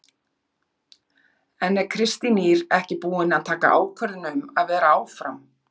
En er Kristín Ýr ekki búin að taka ákvörðun um að vera áfram?